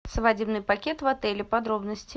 свадебный пакет в отеле подробности